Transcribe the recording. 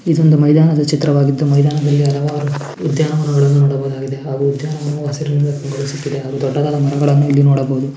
ಇದೊಂದು ಮೈದಾನದ ಚಿತ್ರವಾಗಿದ್ದು ಮೈದಾನದಲ್ಲಿ ಹಲವಾರು ಉದ್ಯಾನವನಗಳನ್ನು ನೋಡಬಹುದಾಗಿದೆ ಹಾಗು ಉದ್ಯಾನವನಾವು ಹಸಿರಿನಿಂದ ಕಂಗೊಳಿಸುತ್ತಿದೆ ಹಾಗು ದೊಡ್ಡದಾದ ಮರಗಳನ್ನು ನೋಡಬಹುದು .